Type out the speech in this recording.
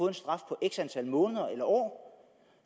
en straf på x antal måneder eller år